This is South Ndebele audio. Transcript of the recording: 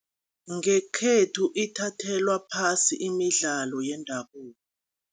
Ngekhethu ithathelwa phasi imidlalo yendabuko.